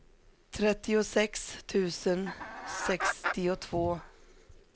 trettiosex tusen sextiotvå